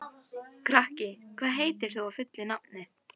Kraki, hvað heitir þú fullu nafni?